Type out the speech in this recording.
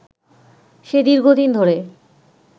সে দীর্ঘদিন ধরে